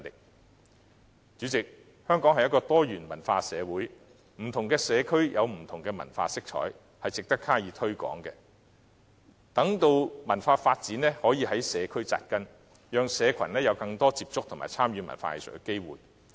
代理主席，香港是一個多元文化的社會，不同的社區有不同的文化色彩，值得加以推廣，待文化發展可在社區扎根，讓市民有更多接觸和參與文化藝術的機會。